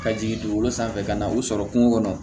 Ka jigin dugukolo sanfɛ ka na u sɔrɔ kungo kɔnɔ